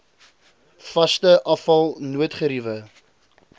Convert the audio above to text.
vaste afval noodgeriewe